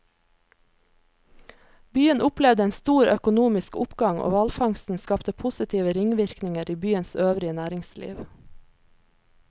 Byen opplevde en stor økonomisk oppgang, og hvalfangsten skapte positive ringvirkninger i byens øvrige næringsliv.